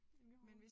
En lille haul